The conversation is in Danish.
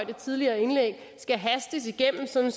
det tidligere indlæg hastes igennem sådan